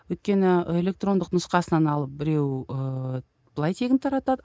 өйткені электрондық нұсқасынан алып біреу ыыы былай тегін таратады